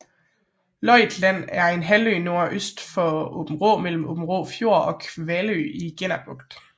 Løjt Land er en halvø nordøst for Aabenraa mellem Aabenraa Fjord og Kalvø i Genner Bugt